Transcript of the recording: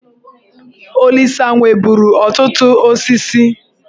Olisa nweburu ọtụtụ osisi.